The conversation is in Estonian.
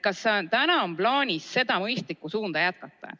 Kas teil on plaanis seda mõistlikku suunda jätkata?